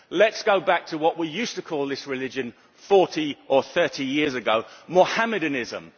Let us go back to what we used to call this religion 30 or 40 years ago Mohammedanism.